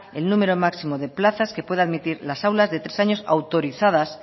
el número máximo de plazas que pueda admitir las aulas de tres años autorizadas